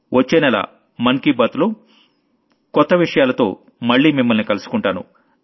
వచ్చేనెల మనసులో మాటలో కొత్త విషయాలతో మళ్లీ మిమ్మల్ని కలుసుకుంటాను